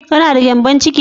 Kana da gyambon ciki ne?